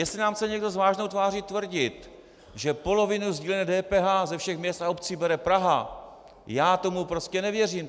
Jestli nám chce někdo s vážnou tváří tvrdit, že polovinu sdílené DPH ze všech měst a obcí bere Praha, já tomu prostě nevěřím.